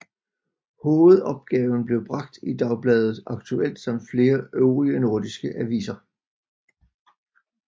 Hovedopgaven blev bragt i dagbladet Aktuelt samt flere øvrige nordiske aviser